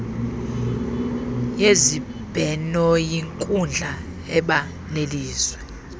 yezibhenoyinkundla eba nelizwi